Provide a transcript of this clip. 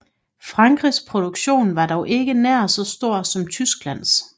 Frankrigs produktion var dog ikke nær så stor som Tysklands